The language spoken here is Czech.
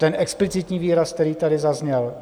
Ten explicitní výraz, který tady zazněl?